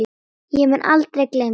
Ég mun aldrei gleyma þessu.